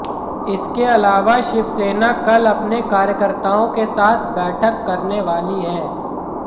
इसके अलावा शिवसेना कल अपने कार्यकर्ताओं के साथ बैठक करने वाली है